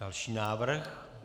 Další návrh.